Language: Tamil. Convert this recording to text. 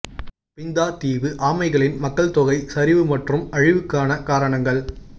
பிந்தா தீவு ஆமைகளின் மக்கள் தொகை சரிவு மற்றும் அழிவுக்கான காரணங்கள்